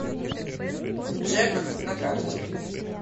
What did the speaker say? джек на карте